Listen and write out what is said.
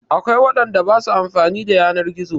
Akwai waɗanda ba su amfani da yanar gizo.